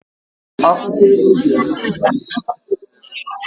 Akw ụkwọ eji ehicha ike adịghịzị ebe ahụ.